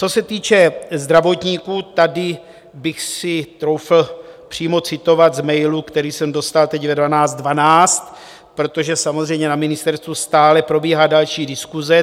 Co se týče zdravotníků, tady bych si troufl přímo citovat z mailu, který jsem dostal teď ve 12.12, protože samozřejmě na ministerstvu stále probíhá další diskuse.